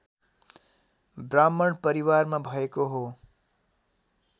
ब्राह्मण परिवारमा भएको हो